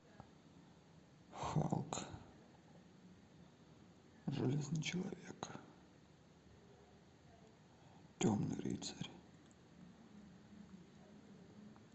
халк железный человек темный рыцарь